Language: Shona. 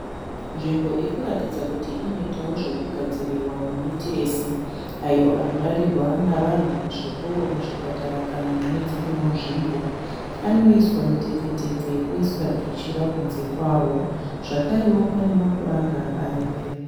Zvimbo iri kuratidza inoitawo zvokugadzirirwa mametiresi ayo anorarirwa nevanhu muzvikoro muzvipatara kana mune dzimwewo nzvimbo. Anoiswa mutefe -tefe oiswa twuchira kunze kwawo zvakare panewo mapuranga aripo.